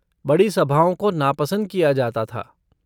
बड़ी सभाओं को नापसंद किया जाता था।